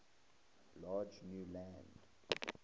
large new land